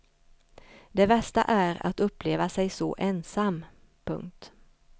Det värsta är att uppleva sig så ensam. punkt